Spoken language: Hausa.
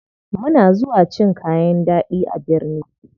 Muna zuwa cin kayan ɗaɗi a birni.